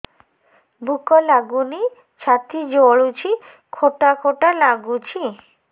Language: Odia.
ଭୁକ ଲାଗୁନି ଛାତି ଜଳୁଛି ଖଟା ଖଟା ଲାଗୁଛି